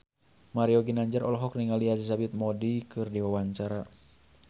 Mario Ginanjar olohok ningali Elizabeth Moody keur diwawancara